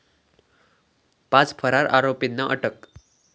पाच फरार आरोपींना अटक